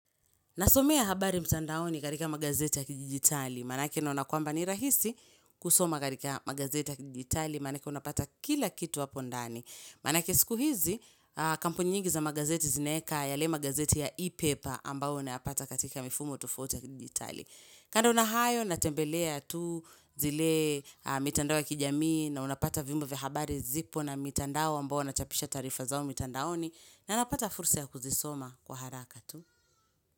Nasomea habari mtandaoni katika magazeti ya kidijitali, maanake naona kwamba ni rahisi kusoma katika magazeti ya kidijitali, maanake unapata kila kitu hapo ndani. Maanake siku hizi, kampuni nyingi za magazeti zinaeka yale magazeti ya e-paper ambayo unayapata katika mifumo tofauti ya kidijitali. Kando na hayo, natembelea tu zile mitandao ya kijamii na unapata vyombo vya habari zipo na mitandao ambayo wanachapisha taarifa zao mitandaoni na napata fursa ya kuzisoma kwa haraka tu.